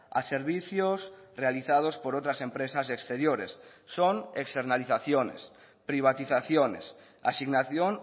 a servicios realizados por otras empresas exteriores son externalizaciones privatizaciones asignación